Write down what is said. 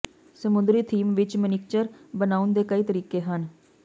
ਸਮੁੰਦਰੀ ਥੀਮ ਵਿਚ ਮਨੀਕਚਰ ਬਣਾਉਣ ਦੇ ਕਈ ਤਰੀਕੇ ਹਨ